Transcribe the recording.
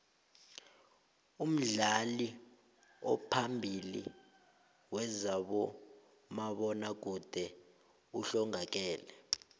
umdlali ophambili wezabomabona kude uhlongakele